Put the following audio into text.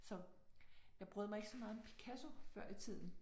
Så jeg brød mig ikke så meget om Picasso før i tiden